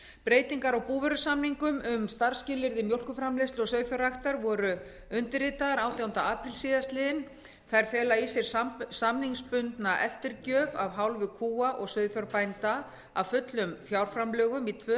breytingar á búvörusamningum um starfsskilyrði mjólkurframleiðslu og sauðfjárræktar voru undirritaðar átjánda apríl síðastliðinn þær fela í sér samningsbundna eftirgjöf af hálfu kúa og sauðfjárbænda af fullum fjárframlögum í tvö